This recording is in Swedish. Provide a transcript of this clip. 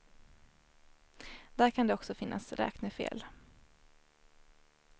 Där kan det också finnas räknefel.